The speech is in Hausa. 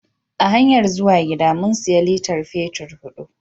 A hanyar zuwa gida, mun siya litar fetur hudu.